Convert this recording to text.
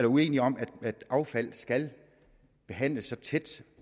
uenige om at affald skal behandles så tæt